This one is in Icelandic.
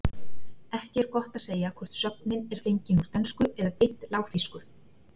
Ekki er gott að segja hvort sögnin er fengin úr dönsku eða beint lágþýsku.